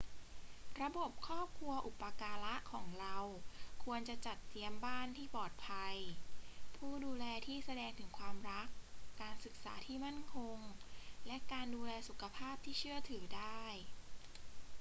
ระบบครอบครัวอุปการะของเราควรจะจัดเตรียมบ้านที่ปลอดภัย ผู้ดูแลที่แสดงถึงความรัก การศึกษาที่มั่นคง และการดูแลสุขภาพที่เชื่อถือได้